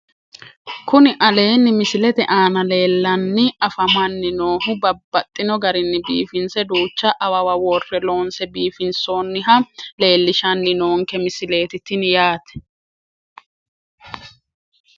Kuni aleenni misilete aana leellanni afamanni noohu babbaxxino garinni biifinse duucha awawa worre loonse biifinsoonniha leellishshanni noonke misileeti tini yaate